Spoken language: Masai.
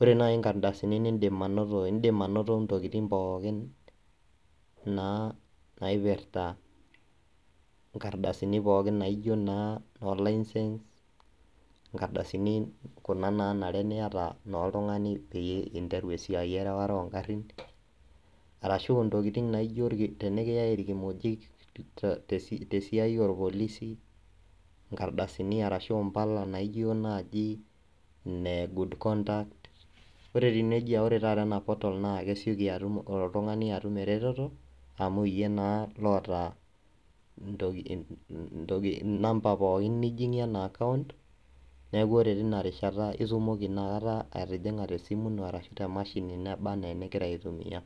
ore nai nkardasini nidim anoto, idim anoto ntokiting pookin naa naipirta inkardasini pookin naijo naa no licence, nkardasini kuna naanare niata na oltung'ani pinteru esiai erewata ogarrin, arashu intokiting naijo tenikiyai irkimojik tesiai orpolisi, nkardasini arashu impala naijo naaji ine good conduct. Ore etiu nejia ore taata ena portal na kesioki atum oltung'ani atum ereteto, amu yie naa loota inamba pookin nijing'ie ena akaunt, neeku ore tinarishata, itumoki inakata atijing'a tesimu ino, arashu temashini neba ena enigira aitumia.